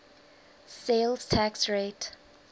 sales tax rate